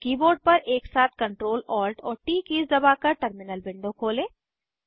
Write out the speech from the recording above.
अपने कीबोर्ड पर एकसाथ Ctrl Alt और ट कीज़ दबाकर टर्मिनल विंडो खोलें